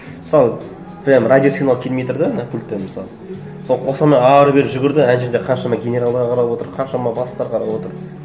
мысалы прямо радиосигнал келмей тұр да ана пульттен мысалы соны қоса алмай ары бері жүгірді ана жерде қаншама генералдар қарап отыр қаншама бастықтар қарап отыр